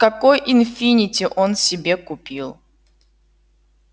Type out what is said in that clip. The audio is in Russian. какой инфинити он себе купил